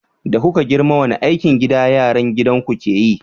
Da kuke girma wani aikin gida yaran gidan ku ke yi?